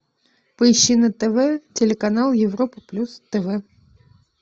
поищи на тв телеканал европа плюс тв